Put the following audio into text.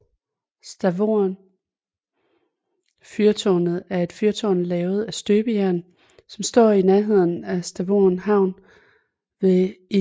Stavoren fyrtånet er et fyrtårn lavet af støbejern som står i nærheden af Stavoren havn ved IJsselmeer